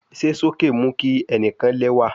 Ṣe soke mu ki ẹnikan lẹwa